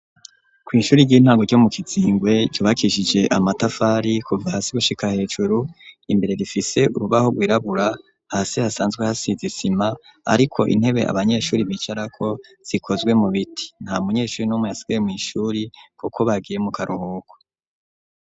Kw'ishuri ry'intango ryo mu Kizingwe ryubakishije amatafari kuva hasi gushika hejuru imbere rifise urubaho rwirabura hasi hasanzwe hasize isima ariko intebe abanyeshuri bicarako zikozwe mu biti ntamunyeshuri n'umwe yasigaye mw'ishuri kuko bagiye mu karuhuko